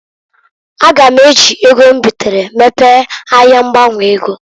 A ga m eji ego m bitere mepee ahia ngbanwe ego.